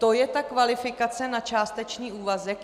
To je ta kvalifikace na částečný úvazek?